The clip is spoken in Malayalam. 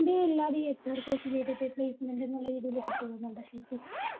MBA ഇല്ലാതെയും ഈ HRcourse എടുത്തിട്ട് placement എന്നുള്ള രീതിൽ പോകുന്നുണ്ടോ ശരിക്കും